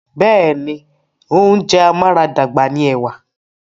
Bẹ́ẹ̀ni, oúnjẹ amáradàgbà ni ẹ̀wà.